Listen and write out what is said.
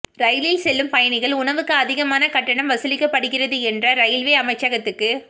ரயிலில் செல்லும் பயணிகள் உணவுக்கு அதிகமான கட்டணம் வசூலிக்கப்படுகிறது என்ற ரெயில்வே அமைச்சகத்துக்கு